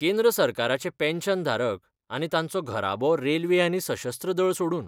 केंद्र सरकाराचे पॅन्शन धारक आनी तांचो घराबो रेल्वे आनी सशस्त्र दळ सोडून